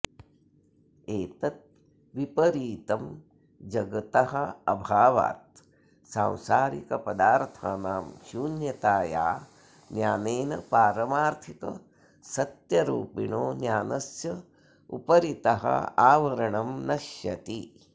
एतद्विपरीतं जगतोऽभावात् सांसारिकपदार्थानां शून्यताया ज्ञानेन पारमार्थिक सत्यरूपिणो ज्ञानस्योपरितः आवरणं नश्यति